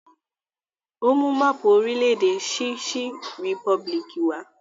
Ó mú máápù orílẹ̀ -èdè Czech Republic wá?